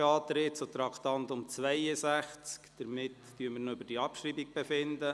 Beim Traktandum 62 wird die Abschreibung beantragt.